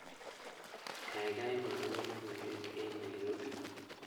Gaigai mwawon logoywek eng Nairobi